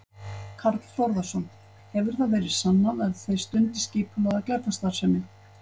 Karl Þórðarson: Hefur það verið sannað að þeir stundi skipulagða glæpastarfsemi?